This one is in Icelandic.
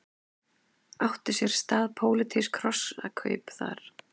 Áttu sér stað pólitísk hrossakaup þar?